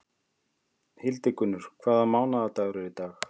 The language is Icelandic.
Hildigunnur, hvaða mánaðardagur er í dag?